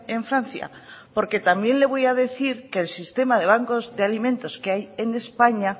en francia porque también le voy a decir que el sistema de bancos de alimentos que hay en españa